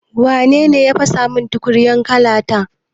Wa nene ya fasa min tukunyar laka ta?